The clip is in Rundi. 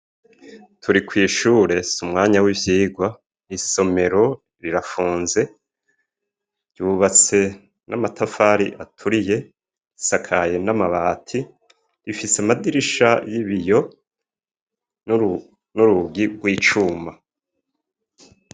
Turi kwishure s’umwanya w'ivyigwa isomero rirafunze ryubatse n'amatafari aturiye isakaye n'amabati rifise amadirisha y'ibiyo n'urugi rw' icuma.